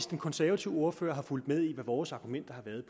den konservative ordfører har fulgt med i hvad vores argumenter har været